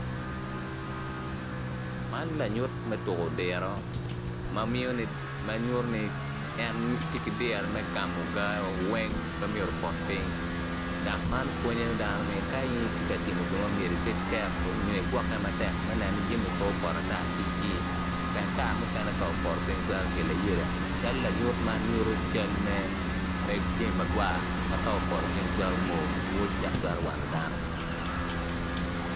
Man lanyut me tuko diro ma nyuto ni kono tye poto anyogi, anyogi man kono odongo mabeco adada pot anyogi man kono tye rangi ma alum alum anyogi cal lanyut man nyuto med jami magwar opoto piny twero moo dok twero wano dano.